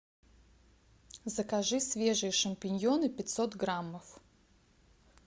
закажи свежие шампиньоны пятьсот граммов